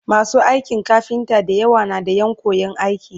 masu aikin kafinta da yawa na da Ƴan koyan aiki